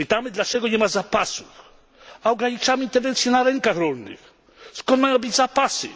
Pytamy, dlaczego nie ma zapasów, a ograniczamy tendencje na rynkach rolnych. Skąd mają być zapasy?